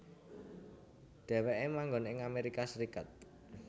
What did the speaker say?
Dheweke manggon ing Amerika Serikat